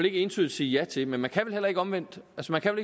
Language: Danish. ikke entydigt sige ja til men man kan vel heller ikke omvendt